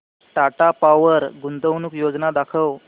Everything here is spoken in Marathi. टाटा पॉवर गुंतवणूक योजना दाखव